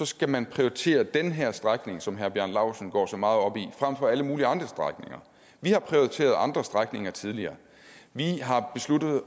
skal man prioritere den her strækning som herre bjarne laustsen går så meget op i frem for alle mulige andre strækninger vi har prioriteret andre strækninger tidligere vi har besluttet